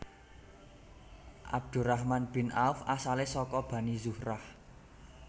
Abdurrahman bin Auf asale saka Bani Zuhrah